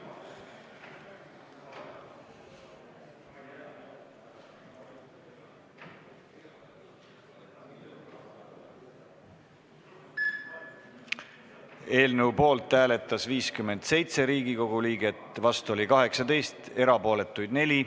Hääletustulemused Eelnõu poolt hääletas 57 Riigikogu liiget, vastu oli 18, erapooletuid 4.